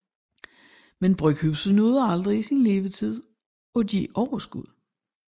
Men bryghuset nåede aldrig i sin levetid at give overskud